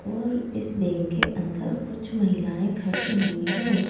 और इस बैंक के अंदर कुछ महिलाएँ खड़ी हुई हैं।